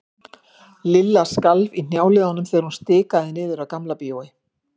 Lilla skalf í hnjáliðunum þegar hún stikaði niður að Gamla bíói.